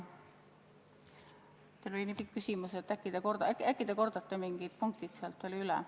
Teil oli nii pikk küsimus, äkki te kordate mingid punktid veel üle?